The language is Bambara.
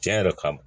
Tiɲɛ yɛrɛ kama